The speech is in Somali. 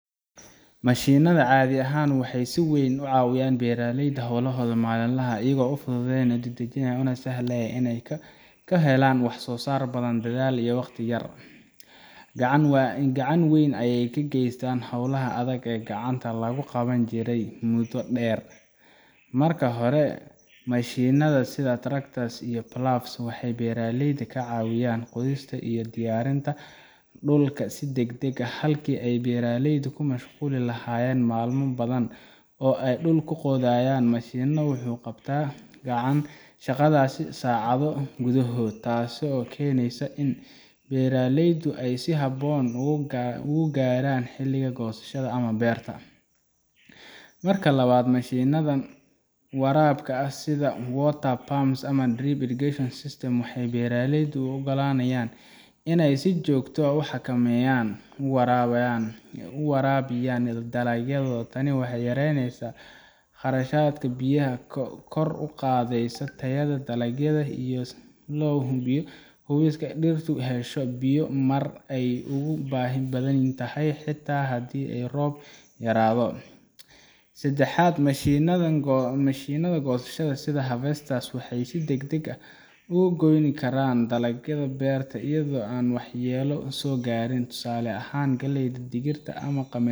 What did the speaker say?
Mashiinnada caadi ahaan waxay si weyn uga caawiyaan beeraleyda hawlahooda maalinlaha ah iyagoo fududeeya, dedejiya, una sahlaya inay ka helaan waxsoosaar badan dadaal iyo waqti yar. Gacan weyn ayay ka geystaan howlaha adag ee gacanta lagu qaban jiray muddo dheer. Marka hore, mashiinnada sida tractors iyo ploughs waxay beeraleyda ka caawiyaan qodista iyo diyaarinta dhulka si degdeg ah. Halkii ay beeraleydu ku mashquuli lahaayeen maalmo badan oo ay dhul ku qodayaan, mashiinku wuxuu qabtaa shaqadaas saacado gudahood. Taasoo keenta in beeraleydu ay si habboon u gaaraan xilliga goosashada ama beerta. Marka labaad, mashiinnada waraabka sida water pumps ama drip irrigation systems waxay beeraleyda u oggolaanayaan inay si joogto ah oo xakameysan u waraabiyaan dalagyadooda. Tani waxay yaraynaysaa khasaaraha biyaha, kor u qaadaysa tayada dalagga, waxayna hubisaa in dhirtu hesho biyo marka ay ugu baahi badan tahay, xitaa haddii roob yaraado. Saddexaad, mashiinnada goosashada sida harvesters waxay si degdeg ah uga goyn karaan dalagga beerta iyadoo aan waxyeello soo gaarin. Tusaale ahaan, galleyda, digirta ama qamadiga